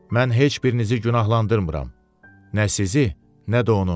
Mən heç birinizi günahlandırmıram, nə sizi, nə də onu.